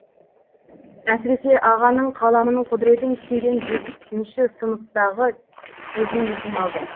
әсіресе ағаның қаламның құдіретін түсінген бесінші сыныптағы кезін есіме алдым